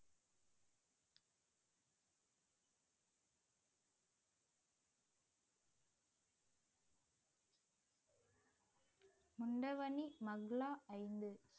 முண்டவணி மங்களா ஐந்து